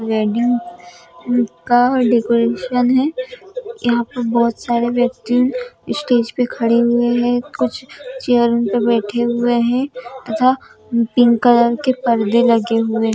Wedding का decoration है यहां पर बहुत सारे व्यक्ति स्टेज पे खड़े हुए हैं कुछ चेयर उन पे बैठे हुए हैं तथा पिंक कलर के परदे लगे हुए हैं।